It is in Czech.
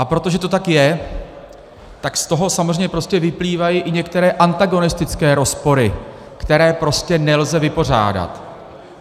A protože to tak je, tak z toho samozřejmě prostě vyplývají i některé antagonistické rozpory, které prostě nelze vypořádat.